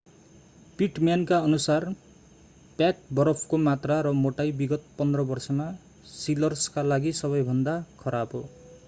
पिटम्यानका अनुसार प्याक बरफको मात्रा र मोटाई विगत 15 वर्षमा सिलर्सका लागि सबैभन्दा खराब हो